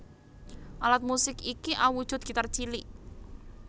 Alat musik iki awujud gitar cilik